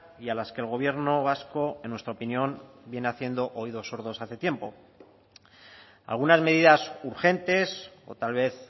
y a las que el gobierno vasco en nuestra opinión viene haciendo oídos sordos hace tiempo algunas medidas urgentes o tal vez